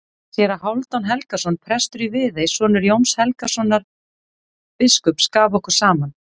Séra Hálfdan Helgason, prestur í Viðey, sonur Jóns Helgasonar biskups, gaf okkur saman.